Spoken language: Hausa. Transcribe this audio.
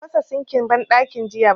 Ban fasa sinkin banɗakin jiya ba